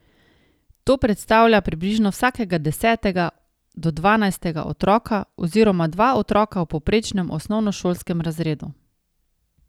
To predstavlja približno vsakega desetega do dvanajstega otroka oziroma dva otroka v povprečnem osnovnošolskem razredu.